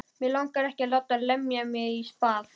Mig langar ekki að láta lemja mig í spað.